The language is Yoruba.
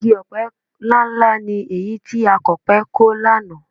Igi ọ̀pẹ ńláǹlà ni èyí tí akọ̀pẹ kọ lánàá